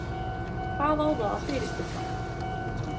Hvað á það að fyrirstilla?